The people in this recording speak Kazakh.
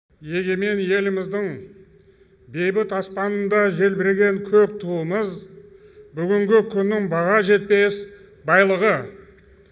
егемен еліміздің бейбіт аспанында желбіреген көк туымыз бүгінгі күннің баға жетпес байлығы